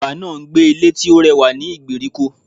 Bàbá náà n gbé Ilé tí ó rẹwà ní ìgbèríko